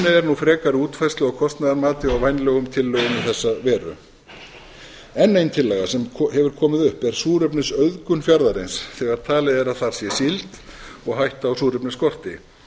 nú að frekari útfærslu á kostnaðarmati og vænlegum tillögum í þessa veru enn ein tillaga sem hefur komið upp er súrefnisauðgun fjarðarins þegar talið er að þar sé síld og hætta á súrefnisskorti